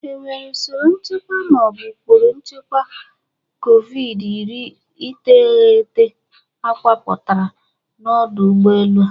Enwere usoro nchekwa ma ọ bụ ụkpụrụ nchekwa kovidi-iri iteghete akọwapụtara na ọdụ ụgbọ elu a?